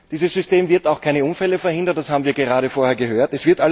Dieses System wird auch keine Unfälle verhindern, das haben wir gerade vorher gehört.